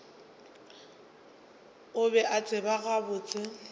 o be a tseba gabotse